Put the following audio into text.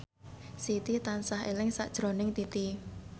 Siti tansah eling sakjroning Titi